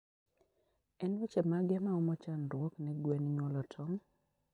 En weche mage maomo chandruok ne gwen nyuolo tong?